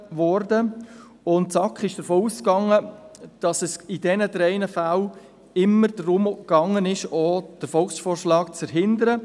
Die SAK ging davon aus, dass es in diesem drei Fällen immer darum gegangen war, auch den Volksvorschlag zu verhindern.